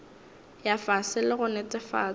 ya fase le go netefatša